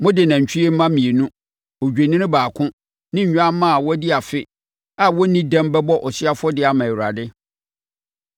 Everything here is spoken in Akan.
Mode nantwie mma mmienu, odwennini baako ne nnwammaa a wɔadi afe a wɔnnii dɛm bɛbɔ ɔhyeɛ afɔdeɛ ama Awurade.